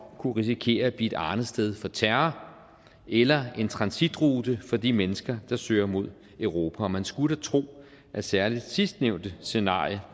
kunne risikere at blive et arnested for terror eller en transitrute for de mennesker der søger mod europa og man skulle da tro at særlig sidstnævnte scenarie